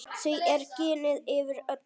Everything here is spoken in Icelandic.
Því er ginið yfir öllu.